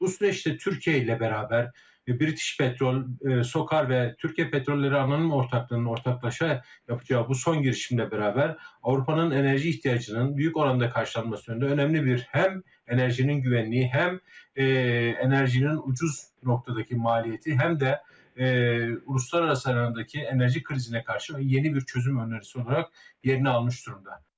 Bu süreçte Türkiyə ilə bərabər British Petrol, SOKAR və Türkiyə Petrolları anonim ortaqlarının ortaqlaşa yapacağı bu son girişimlə bərabər Avropanın enerji ehtiyacının böyük oranda qarşılanması yönündə önəmli bir həm enerjinin güvənliyi, həm enerjinin ucuz nöqtədəki maliyyəti, həm də uluslararası alandakı enerji krizinə qarşı yeni bir çözüm önərisisi olaraq yerini almış durumda.